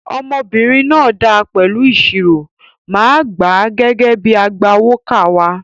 Ọmọbìnrin náà dáa pẹ̀lú ìṣirò, màá gbà á gẹ́gẹ́ bíi agbawókà wa.